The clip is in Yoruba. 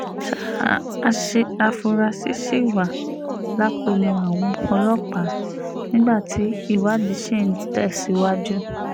sáà àfúrásì ṣì wà lákọlò àwọn ọlọ́pàá nígbà tí ìwádìí ṣì ń tẹ̀síwájú